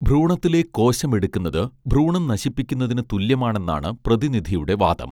ഭ്രൂണത്തിലെ കോശം എടുക്കുന്നത് ഭ്രൂണം നശിപ്പിക്കുന്നതിനു തുല്യമാണെന്നാണ് പ്രതിനിധിയുടെ വാദം